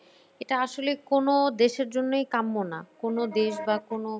এটা আসলে কোনো দেশের জন্যই কাম্য না। কোনো দেশ বা কোনো।